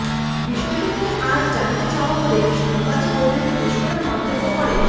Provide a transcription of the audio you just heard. বিষয়টি নিয়ে আজ জানতে চাওয়া হলে সাংবাদিক বৈঠকে বিস্ফোরক মন্তব্য করেন